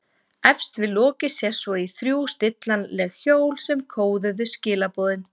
Efst við lokið sést svo í þrjú stillanleg hjól sem kóðuðu skilaboðin.